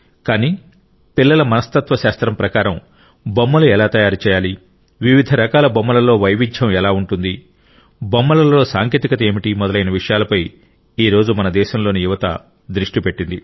కానీ పిల్లల మనస్తత్వశాస్త్రం ప్రకారం బొమ్మలు ఎలా తయారు చేయాలి వివిధ రకాల బొమ్మలలో వైవిధ్యం ఎలా ఉంటుంది బొమ్మలలో సాంకేతికత ఏమిటి మొదలైన విషయాలపై ఈ రోజు మన దేశంలోని యువత దృష్టి పెట్టింది